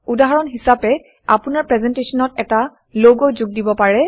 উদাহৰণ হিচাপে আপোনাৰ প্ৰেজেণ্টেশ্যনত এটা লগ যোগ দিব পাৰে